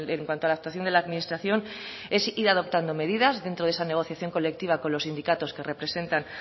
en cuanto a la actuación de la administración es ir adoptando medidas dentro de esa negociación colectiva con los sindicatos que representan